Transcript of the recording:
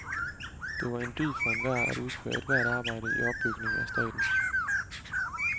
Det var en dyd for enhver at udføre ethvert arbejde i opbygningen af staten.